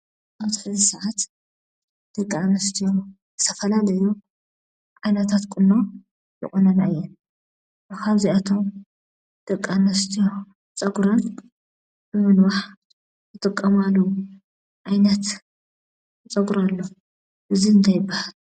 ኣብዚ ሕዚ ሰዓት ደቂ ኣንስትዮ ዝተፈላለዩ ዓይነታት ቁኖ ይቁነና እየን፡፡ ካብዚኣቶም ደቂ ኣንስትዮ ፀጉረን ንምንዋሕ ዝጥቀማሉ ዓይነት ፀጉሪ ኣሎ፡፡ እዚ እንታይ ይባሃል?